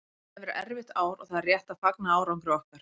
Þetta hefur verið erfitt ár og það er rétt að fagna árangri okkar.